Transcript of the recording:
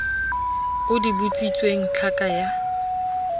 o di botsitsweng tlhaka ya